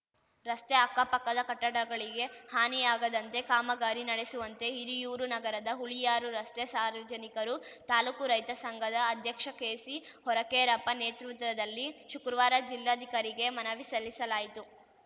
ರಸ್ತೆ ಅಕ್ಕಪಕ್ಕದ ಕಟ್ಟಡಗಳಿಗೆ ಹಾನಿಯಾಗದಂತೆ ಕಾಮಗಾರಿ ನಡೆಸುವಂತೆ ಹಿರಿಯೂರು ನಗರದ ಹುಳಿಯಾರು ರಸ್ತೆ ಸಾರ್ವಜನಿಕರು ತಾಲೂಕು ರೈತ ಸಂಘದ ಅಧ್ಯಕ್ಷ ಕೆಸಿ ಹೊರಕೇರಪ್ಪ ನೇತೃತ್ವದಲ್ಲಿ ಶುಕ್ರುವಾರ ಜಿಲ್ಲಾಧಿಕಾರಿಗೆ ಮನವಿ ಸಲ್ಲಿಸಲಾಯಿತು